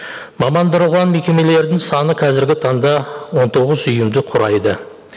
мекемелердің саны қазіргі таңда он тоғыз ұйымды құрайды